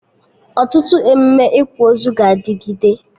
Ọtụtụ emụme ịkwa ozu ga-adịgịde